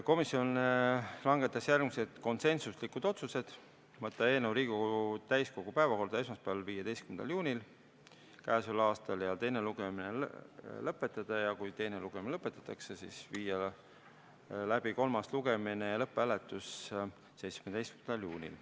Komisjon langetas järgmised konsensuslikud otsused: võtta eelnõu Riigikogu täiskogu päevakorda esmaspäeval, 15. juunil ja teine lugemine lõpetada, ja kui teine lugemine lõpetatakse, siis viia läbi kolmas lugemine ja lõpphääletus 17. juunil.